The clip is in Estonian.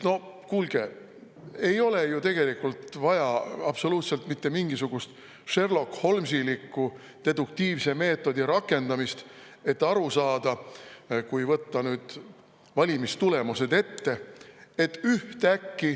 No kuulge, ei ole ju tegelikult vaja absoluutselt mitte mingisugust sherlockholmesilikku deduktiivse meetodi rakendamist, et sellest aru saada, kui võtta valimistulemused ette.